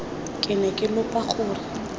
ke ne ke lopa gore